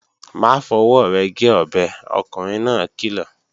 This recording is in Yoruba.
Má fọwọ́ rẹ̀ gé ọbẹ̀, ọkùnrin náà kìlọ̀!